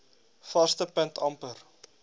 vaste punt amper